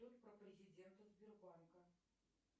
про президента сбербанка